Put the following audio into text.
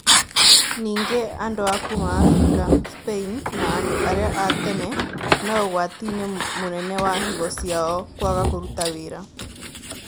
Ningĩ, andũ a kuma Afrika, Spain, na andũ aria a tene me ũgwati-inĩ mũnene wa higo ciao kwaga kũruta wĩra